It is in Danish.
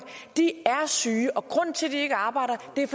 er syge og grunden til at de ikke arbejder er